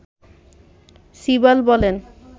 সিবাল বলেন